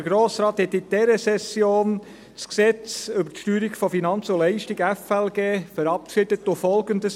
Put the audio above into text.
Der Grosse Rat verabschiedete in dieser Session das Gesetz über die Steuerung von Finanzen und Leistungen (FLG) und beschloss Folgendes: